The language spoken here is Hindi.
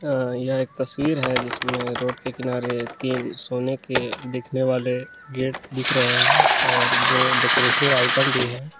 अ यह एक तस्वीर है जिसमें रोड के किनारे तीन सोने के दिखने वाले गेट दिख रहे हैं और दो डेकोरेशन का आइटम भी है।